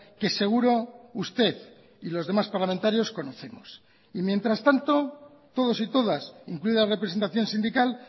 que seguro usted y los demás parlamentarios conocemos y mientras tanto todos y todas incluida la representación sindical